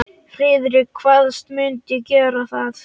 Friðrik kvaðst mundu gera það.